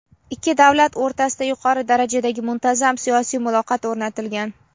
Ikki davlat o‘rtasida yuqori darajadagi muntazam siyosiy muloqot o‘rnatilgan.